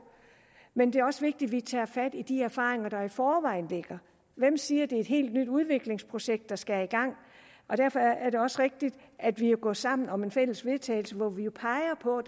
men det er også vigtigt vi tager fat i de erfaringer der i forvejen ligger hvem siger det er et helt nyt udviklingsprojekt der skal i gang derfor er det også rigtigt at vi er gået sammen om et fælles vedtagelse hvor vi peger på at